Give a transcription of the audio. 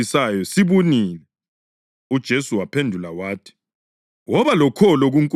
UJesu waphendula wathi, “Woba lokholo kuNkulunkulu.